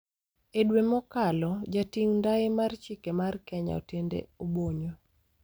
E dwe mokalo, Jating' ndai mar Chike mar Kenya, Otiende Obonyo